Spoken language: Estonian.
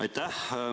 Aitäh!